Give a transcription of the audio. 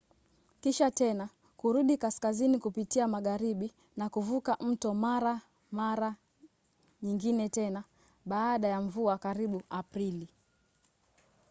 kisha tena kurudi kaskazini kupitia magharibi na kuvuka mto mara mara nyingine tena baada ya mvua karibu aprili